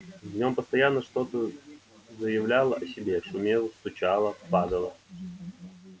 в нём постоянно что-то заявляло о себе шумело стучало падало